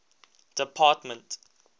department